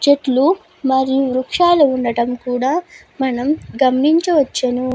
చెట్లు మరియు వృక్షాలు కూడా ఉండడం కూడా మనం గమనించవచ్చును.